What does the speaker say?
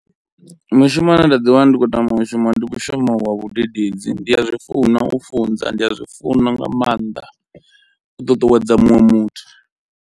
Mushumo une nda ḓi wana ndi khou tama u shuma ndi mushumo wa vhudededzi, ndi a zwi funa u funza, ndi a zwi funa nga maanḓa u ṱuṱuwedza muṅwe muthu.